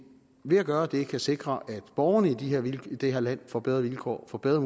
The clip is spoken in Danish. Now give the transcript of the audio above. ved at gøre det kan sikre at borgerne i det her land får bedre vilkår får bedre